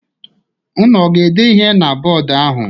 Unu ga-ede ihe na bọdụ ahụ?